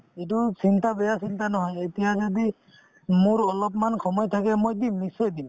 এইটো চিন্তা বেয়া চিন্তা নহয় এতিয়া যদি মোৰ অলপমান সময় থাকে মই দিম নিশ্চয় দিম